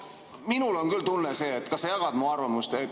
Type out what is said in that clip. Minul on küll tunne – kas sa jagad mu arvamust?